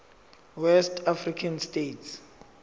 west african states